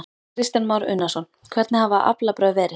Kristján Már Unnarsson: Hvernig hafa aflabrögð verið?